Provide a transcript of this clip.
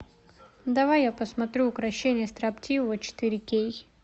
давай я посмотрю укрощение строптивого четыре кей